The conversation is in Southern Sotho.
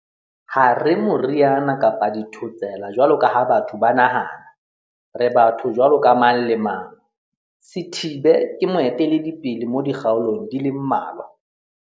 "Ha re moriana kapa dithotsela jwalo ka ha batho ba nahana. Re batho jwaloka mang le mang."Sithibe ke moeteledipele mo dikgaolong di le mmalwa.